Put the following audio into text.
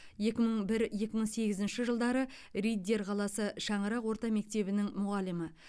екі мың бір екі мың сегізінші жылдары риддер қаласы шаңырақ орта мектебінің мұғалімі